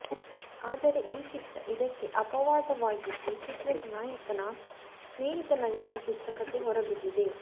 ಆದರೆ ಈ ಚಿತ್ರ ಇದಕ್ಕೆ ಅಪವಾದವಾಗಿದ್ದು ಚಿತ್ರದ ನಾಯಕನ ಸ್ನೇಹಿತನಾಗಿ ಈ ಚಿತ್ರ ಕಥೆ ಹೊರಬಿದ್ದಿದೆ